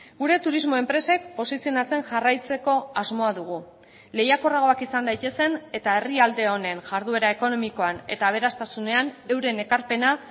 gure turismo enpresek posizionatzen jarraitzeko asmoa dugu lehiakorragoak izan daitezen eta herrialde honen jarduera ekonomikoan eta aberastasunean euren ekarpena